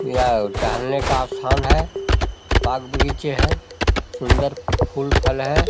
यह टहलने का स्थान है बाग-बगीचे है सुन्दर फूल फल है।